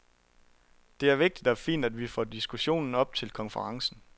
Det er vigtigt og fint, at vi får diskussionen op til konferencen.